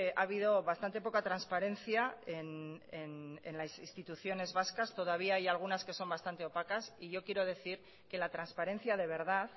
ha habido bastante poca transparencia en las instituciones vascas todavía hay algunas que son bastante opacas y yo quiero decir que la transparencia de verdad